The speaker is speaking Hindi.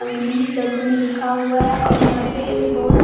अंग्रेजी शब्द में लिखा हुआ है और यहाँ पे एक बहुत --